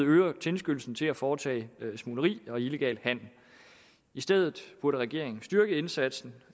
øger tilskyndelsen til at foretage smugleri og illegal handel i stedet burde regeringen styrke indsatsen